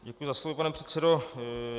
Děkuji za slovo, pane předsedo.